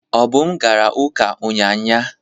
Obum gara uka unyanya.